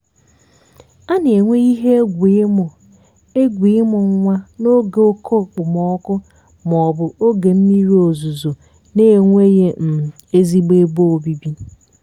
a na-enwe ihe egwu ịmụ egwu ịmụ nwa n'oge oke okpomọkụ ma ọ bụ oge mmiri ozuzo na-enweghị um ezigbo ebe obibi.